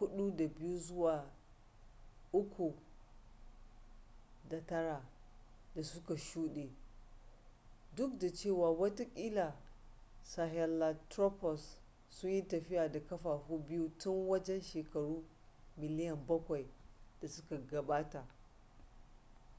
4.2-3.9 da suka shude duk da cewa watakila sahelanthropus sun yi tafiya da kafafu biyu tun wajen shekaru miliyan bakwai da suka gabata